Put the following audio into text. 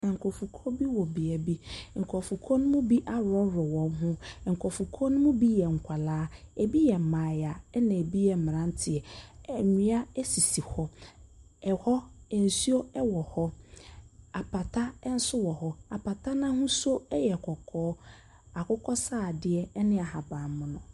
Nkrɔfokuo bi wɔ bea bi. Nkrɔfokuo no bi aworɔworɔ wɔn ho. Nkrɔfokuo no mu bi yɛ mmofra. Ebi yɛ mmaayaa, na eboi yɛ mmranteɛ. Nnua esisi hɔ. Ɛhɔ, nsuo wɔ hɔ. Apata no ahosuo yɛ kɔkɔɔ, akokɔsradeɛ ne ahabanmono.